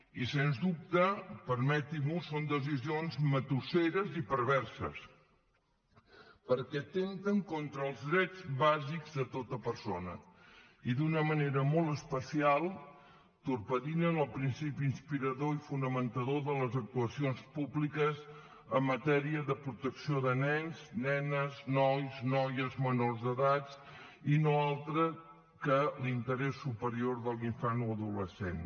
i sens dubte permetim’ho són decisions matusseres i perverses perquè atempten contra els drets bàsics de tota persona i d’una manera molt especial torpedinen el principi inspirador i fonamentador de les actuacions públiques en matèria de protecció de nens nenes nois noies menors d’edats que no és altre que l’interès superior de l’infant o adolescent